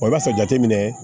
i b'a sɔrɔ jateminɛ